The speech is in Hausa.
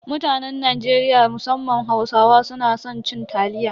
Mutanen Najeriya musamman Hausawa suna san cin taliya.